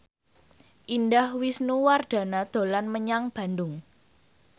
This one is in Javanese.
Indah Wisnuwardana dolan menyang Bandung